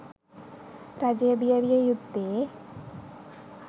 රජය බිය විය යුත්තේ